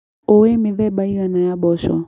ũĩ mĩthemba ĩigana ya mboco.